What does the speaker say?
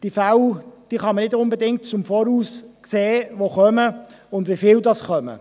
Man kann die Fälle, die kommen und wie viele es sind, nicht unbedingt voraussehen.